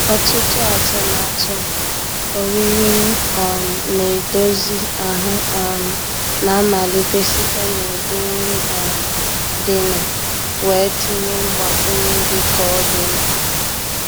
Ọtụtụ atụmatụ oriri um na-edozi ahụ um na-amalite site n'ụdị nri um dịnụ, wee tinye mgbakwunye dị ka ọ dị mkpa.